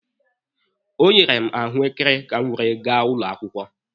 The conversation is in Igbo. E nyere m ya ahụekere ka o were gaa ụlọ akwụkwọ.